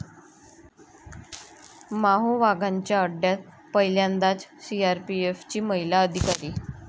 माओवाद्यांच्या अड्ड्यात पहिल्यांदाच सीआरपीएफची महिला अधिकारी